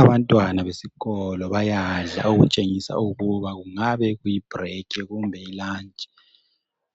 Abantwana besikolo bayadla okutshengisa ukuba kungabekuyibreak kumbe ilunch.